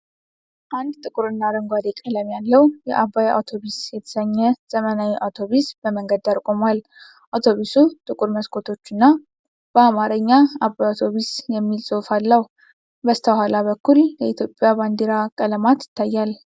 አንድ ጥቁርና አረንጓዴ ቀለም ያለው የ"አባይ አውቶብስ" የተሰኘ ዘመናዊ አውቶብስ በመንገድ ዳር ቆሟል። አውቶቡሱ ጥቁር መስኮቶች እና በአማርኛ "አባይ አውቶብስ" የሚል ጽሑፍ አለው። በስተኋላ በኩል የኢትዮጵያ ባንዲራ ቀለማት ይታያል።